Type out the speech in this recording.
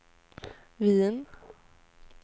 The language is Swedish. Wien